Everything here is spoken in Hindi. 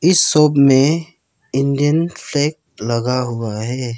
इस शॉप में इंडियन फ्लैग लगा हुआ है।